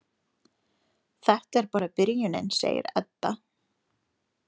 Þetta er bara byrjunin, segir Edda.